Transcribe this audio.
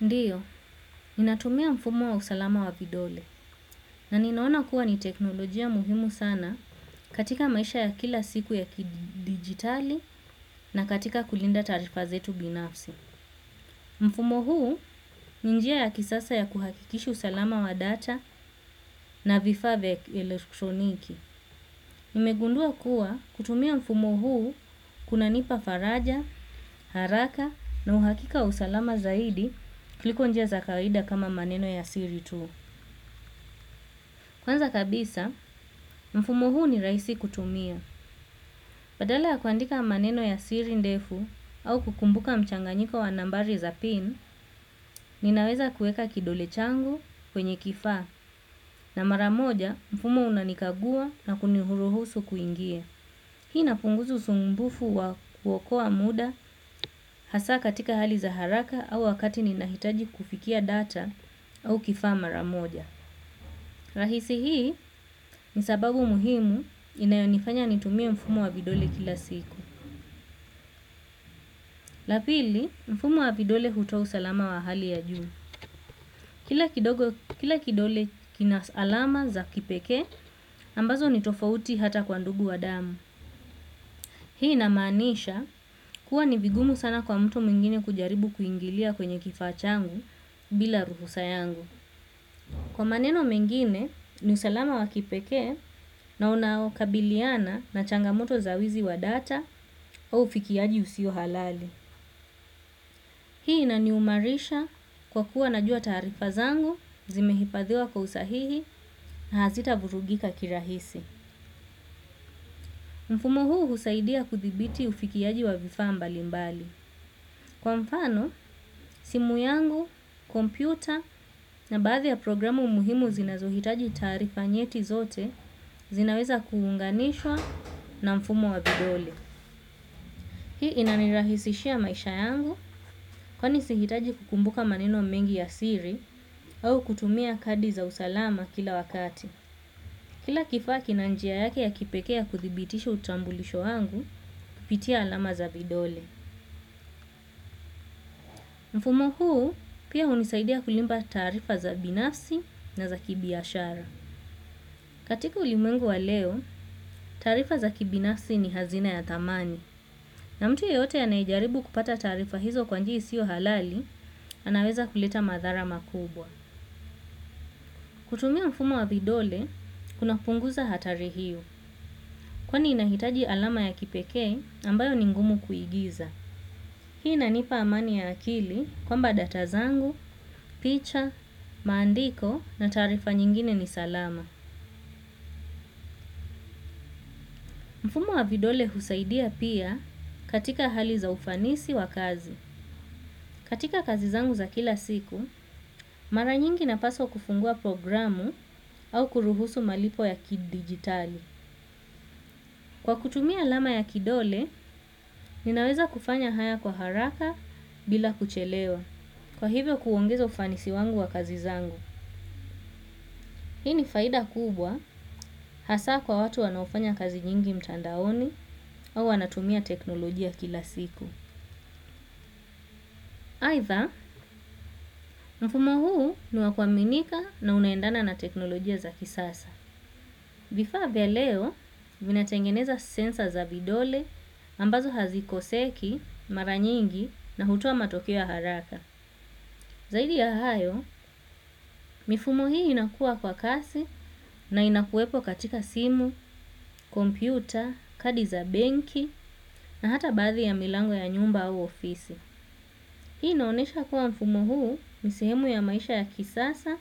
Ndiyo, ni natumia mfumo wa usalama wa vidole na ninaona kuwa ni teknolojia muhimu sana katika maisha ya kila siku ya kidigitali na katika kulinda taarifazetu binafsi. Mfumo huu ni njia ya kisasa ya kuhakikishi usalama wa data na vifaa vya elektroniki. Nimegundua kuwa kutumia mfumo huu kuna nipa faraja, haraka na uhakika wa usalama zaidi kuliko njia za kawaida kama maneno ya Siri tu. Kwanza kabisa, mfumo huu ni rahisi kutumia. Badala ya kuandika maneno ya sirindefu au kukumbuka mchanganyiko wanambari za pin, ninaweza kueka kidole changu kwenye kifaa na maramoja mfumo unanikagua na kuni huruhusu kuingia Hii ina punguza usumbufu wa kuokoa muda hasa katika hali za haraka au wakati ni nahitaji kufikia data au kifaa ma ramoja. Rahisi hii ni sababu muhimu inayonifanya nitumie mfumo wa vidole kila siku. Lapili mfumo wa vidole hutoa usalama wa hali ya juu. Kila kidole kina sa alama za kipekee ambazo ni tofauti hata kwa ndugu wa damu. Hii inamaanisha kuwa nivigumu sana kwa mtu mwingine kujaribu kuingilia kwenye kifaa changu bila ruhu sa yangu. Kwa maneno mengine ni usalama wakipekee na unao kabiliana na changamoto za wizi wa data au ufikiaji usio halali. Hii inani umarisha kwa kuwa najua taarifa zangu zimehifadhiwa kwa usahihi na hazita vurugika kirahisi. Mfumu huu husaidia kuthibiti ufikiaji wa vifaa mbali mbali. Kwa mfano, simu yangu, kompyuta na baadhi ya programu muhimu zinazohitaji taarifa nyeti zote zinaweza kuunganishwa na mfumo wa vidole. Hii inanirahisishia maisha yangu kwa nisi hitaji kukumbuka maneno mengi ya siri au kutumia kadi za usalama kila wakati. Kila kifaa ki na njia yake ya kipekee ya kuthibitisha utambulisho wangu kupitia alama za vidole. Mfumo huu pia unisaidia kulimba taarifa za binafsi na za kibiashara. Katika ulimwengu wa leo, taarifa za kibinafsi ni hazina ya thamani. Na mtu ye yote anayejaribu kupata taarifa hizo kwanji isiyo halali, anaweza kuleta madhara makubwa. Kutumia mfumo wa vidole, kuna punguza hatari hiyo. Kwani inahitaji alama ya kipekee ambayo ningumu kuigiza. Hii inanipa amani ya akili kwa mba data zangu, picha, maandiko na taarifa nyingine ni salama. Mfumo wa vidole husaidia pia katika hali za ufanisi wa kazi. Katika kazi zangu za kila siku, mara nyingi na paswa kufungua programu au kuruhusu malipo ya kidigitali. Kwa kutumia alama ya kidole, ninaweza kufanya haya kwa haraka bila kuchelewa. Kwa hivyo kuongeza ufanisi wangu wa kazi zangu. Hii ni faida kubwa hasa kwa watu wanaofanya kazi nyingi mtandaoni au anatumia teknolojia kila siku. Aitha, mfumo huu niwakuaminika na unaendana na teknolojia za kisasa. Vifaa vya leo, vinatengeneza sensor za vidole ambazo hazikoseki, maranyingi na hutoa matokeo ya haraka. Zaidi ya hayo, mifumo hii inakua kwa kasi na inakuwepo katika simu, kompyuta, kadi za benki na hata baathi ya milango ya nyumba au ofisi. Hii inaonesha kuwa mfumo huu nisehemu ya maisha ya kisasa